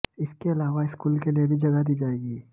इसके अलावा स्कूल के लिए भी जगह दी जाएगी